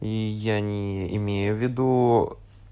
и я не имею в виду